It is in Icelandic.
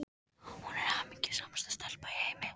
Hún er hamingjusamasta stelpa í heimi.